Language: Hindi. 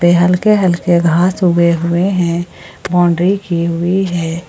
थोड़े हल्के हल्के घास उगे हुए हैं बाउंड्री की हुई है।